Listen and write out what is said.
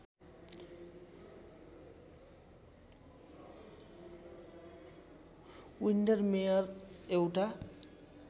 विन्डरमेअरमा एउटा